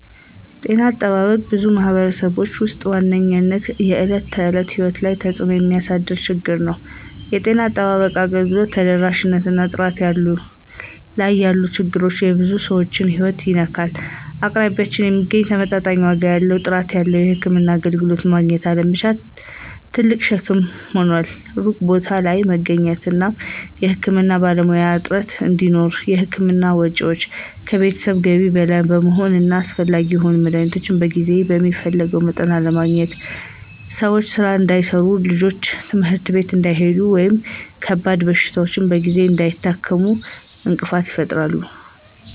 ጤና አጠባበቅ በብዙ ማኅበረሰቦች ውስጥ ዋነኛው የዕለት ተዕለት ሕይወት ላይ ተጽእኖ የሚያሳድር ችግር ነው። የጤና አጠባበቅ አገልግሎት ተደራሽነት እና ጥራት ላይ ያሉ ችግሮች የብዙ ሰዎችን ሕይወት ይነካሉ። አቅራቢያ የሚገኝ፣ ተመጣጣኝ ዋጋ ያለው እና ጥራት ያለው የሕክምና አገልግሎት ማግኘት አለመቻል ትልቅ ሸክም ይሆናል። ሩቅ ቦታ ላይ መገኘት ወይም የሕክምና ባለሙያዎች እጥረት እንዲሁም የሕክምና ወጪዎች ከቤተሰብ ገቢ በላይ መሆን እና አስፈላጊ የሆኑ መድኃኒቶች በጊዜ እና በሚፈለገው መጠን አለመገኘት ሰዎች ሥራ እንዳይሠሩ፣ ልጆች ትምህርት ቤት እንዳይሄዱ ወይም ከባድ በሽታዎችን በጊዜ እንዳይታከሙ እንቅፋት ይፈጥራሉ።